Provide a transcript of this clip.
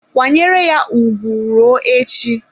Kwanyere ya ugwu ruo echi.